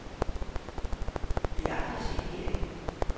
Det er aldrig set herinde.